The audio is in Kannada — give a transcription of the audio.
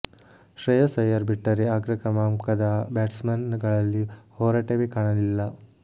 ಶ್ರೇಯಸ್ ಐಯರ್ ಬಿಟ್ಟರೆ ಅಗ್ರ ಕ್ರಮಾಂಕದ ಬ್ಯಾಟ್ಸ್ ಮನ್ ಗಳಲ್ಲಿ ಹೋರಾಟವೇ ಕಾಣಲಿಲ್ಲ